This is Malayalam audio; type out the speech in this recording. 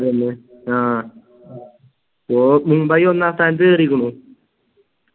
ആഹ് ഗോ മുംബൈ ഒന്നാം സ്ഥാനത്തു കേറിക്കുണു